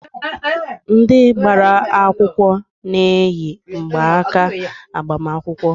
Ndị gbara akwụkwọ na-eyi mgbanaaka agbamakwụkwọ.